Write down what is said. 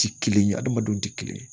Ti kelen ye adamadenw tɛ kelen ye